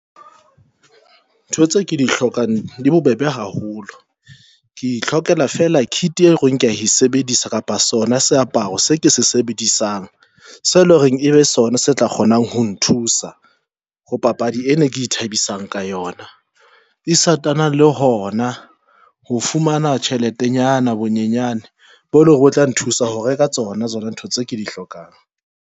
Ntho tse ke di hlokang di bobebe haholo. Ke ihlokela fela kit e reng ke ya e sebedisa kapa sona seaparo se ke se sebedisang seo eleng hore ebe sona se tla kgonang ho thusa ho papadi ena e ke ithabisang ka yona. E sitana le hona ho fumana tjheletenyana bonyenyane bo leng hore o tla nthusa ho reka tsona tsona ntho tse ke di hlokang.